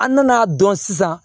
An nana dɔn sisan